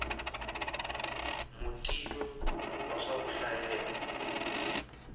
mutivi wa swa ku hlayela